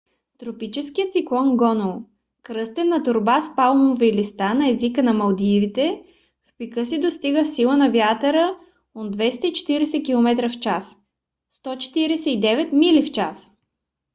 тропическият циклон гону кръстен на торба с палмови листа на езика на малдивите в пика си достига сила на вятъра от 240 км/ч 149 мили в час